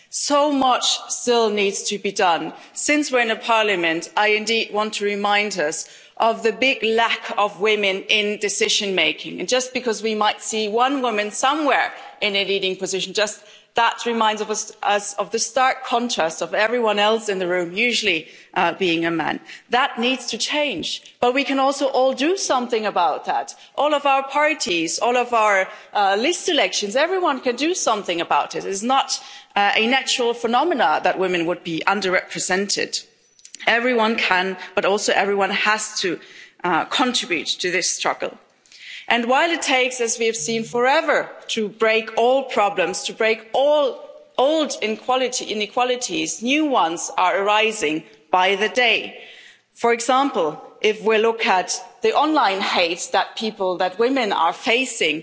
So much still needs to be done. Since we're in a Parliament, I indeed want to remind us of the big lack of women in decision making. Just because we might see one woman somewhere in a leading position, that just reminds us of the stark contrast of everyone else in the room usually being a man. That needs to change, but we can also all do something about that. All of our parties, all of our list elections, everyone can do something about it. It is not a natural phenomenon that women are under represented. Everyone can, but also everyone has to contribute to this struggle. While it takes forever, as we have seen, to break old problems, to break all old inequalities, new ones are rising by the day. For example, if we look at the online hate that people women are